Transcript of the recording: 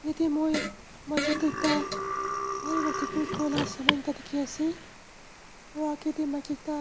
yatae moi majo tae ekta bhal pa decorate kurila saman ekta dikhiase aro akae tae maki ekta.